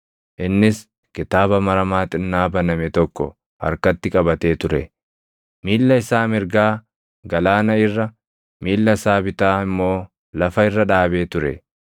Innis kitaaba maramaa xinnaa baname tokko harkatti qabatee ture. Miilla isaa mirgaa galaana irra, miilla isaa bitaa immoo lafa irra dhaabee ture;